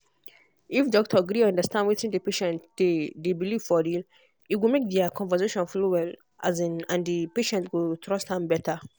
if doctor gree understand wetin the patient dey dey believe for real e go make their talk flow well um and the patient go trust am better.